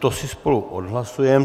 To si spolu odhlasujeme.